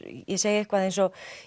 ég segi eitthvað eins og